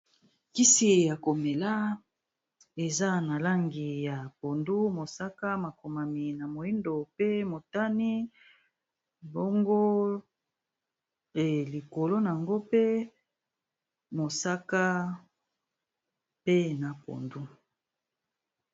Kisi ya komela eza na langi ya pondu mosaka makomami na moyido pe motane bongo likolo nango pe mosaka pe na pondu.